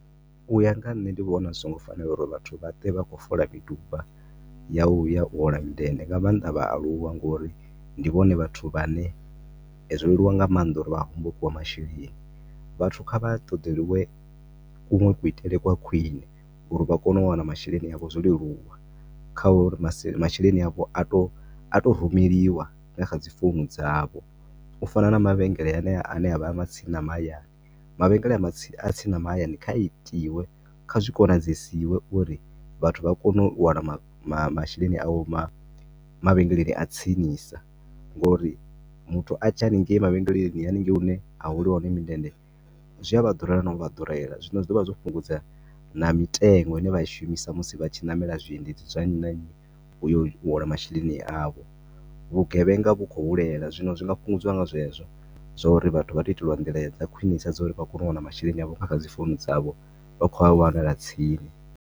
U ya nga nṋe ndi vhona zwi so ngo fanela uri vhathu vha ṱwe vha khou fola miduba ya u ya u hola mindende nga maanḓa vhaaluwa ngo uri ndi vhone vhathu vhane zwo leluwa nga maanḓa uri vha hombokiwe masheleni, vhathu kha vha ṱoḓeliwe kunwe ku itele kwa khwine uri vha kone u wana masheleni avho zwo leluwa, kha uri masheleni avho a to, a to rumeliwa na kha dzi founu dzavho, u fana na mavhengele haneya ane avha tsini na mahayani, mavhengele a tsini na hayani kha itiwe, kha zwi konadzesiwe uri vhathu vha kone u wana masheleni avho mavhengeleni a tsinisa ngo uri muthu atshiya haningei mavhengeleni, haningei hune ha holeliwa hone mundende zwi a vha ḓurela na u vha ḓurela, zwino zwi dovha zwo fhungudza na mitengo ine vha i shumisa musi vha tshi namela zwi endedzi zwene u ya u hola masheleni avho, vhugevhenga hu khou hulela, zwino zwi nga fhungudziwa nga zwezwo, zwo uri vhathu vha to iteliwa ndila dza khwinesa dzo u ri vha kone u wana masheleni avho a kha dzi founu dzavho, vha khou a wanela tsini.